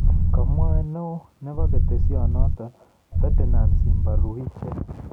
Komwa neoo nebo ketesyenoto Ferdinant Simbaruhije